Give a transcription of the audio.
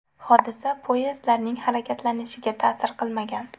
Hodisa poyezdlarning harakatlanishiga ta’sir qilmagan.